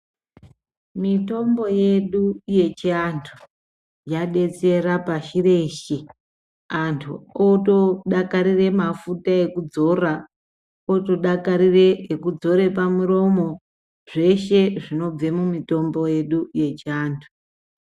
Mitombo yedu yechi antu ya detsera pashi reshe antu oto dakarire mafuta eku dzora oto dakarire eku dzore pa muromo zveshe zvinobve mu mitombo yedu yechi antu.